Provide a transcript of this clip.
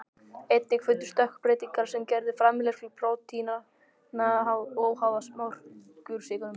Einnig fundust stökkbreytingar sem gerðu framleiðslu prótínanna óháða mjólkursykrinum.